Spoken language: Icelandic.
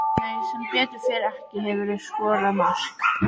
Nei sem betur fer ekki Hefurðu skorað mark?